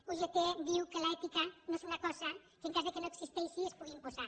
ugt diu que l’ètica no és una cosa que en cas que no existeixi es pugui imposar